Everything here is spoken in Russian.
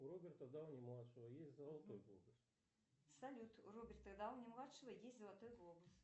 салют у роберта дауни младшего есть золотой глобус